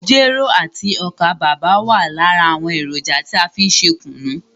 Jero àti ọ́kà bàbà wa lára àwọn èròjà tí a fí n ṣe kùnú.